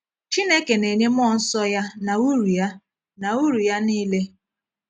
Chineke na-enye mmụọ nsọ Ya na uru Ya na uru ya niile.